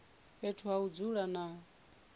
fhethu ha u dzula na